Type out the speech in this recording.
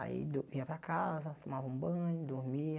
Aí do vinha para casa, tomava um banho, dormia.